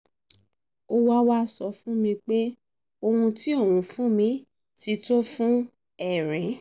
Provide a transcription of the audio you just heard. ó wá wá sọ fún mi pé ohun tí òun fún mi ti tó fún erin